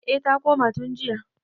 eh ta koma tun jiya